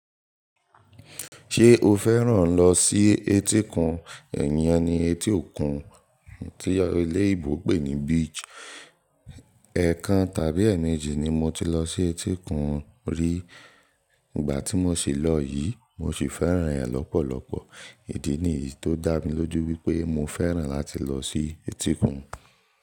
Ṣé o fẹ́ràn lọ sí etíkun? Ẹ̀yin yẹn ni etí òkun tí eléyìbò pè ní beach. Ẹ̀kan tàbí ẹ́ẹ̀mẹ́jì ni mo ti lọ sí etíkun rí. Ìgbà tí mo ṣi lọ yìí mo sì fẹ́ràn ẹ́ lọ́pọ̀lọpọ̀. Ìdí nìyí tó dá mi lójú wípé mo fẹ́ràn láti lọ sí etíkun.